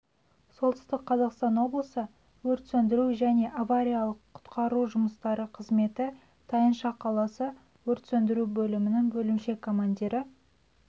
солтүстік қазақстан облысы өрт сөндіру және авариялық-құтқару жұмыстары қызметі тайынша қаласы өрт сөндіру бөлімінің бөлімше командирі